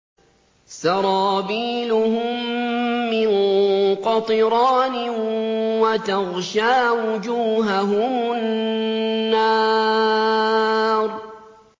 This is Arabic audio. سَرَابِيلُهُم مِّن قَطِرَانٍ وَتَغْشَىٰ وُجُوهَهُمُ النَّارُ